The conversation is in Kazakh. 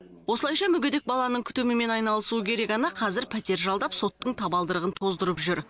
осылайша мүгедек баланың күтімімен айналысуы керек ана қазір пәтер жалдап соттың табалдырығын тоздырып жүр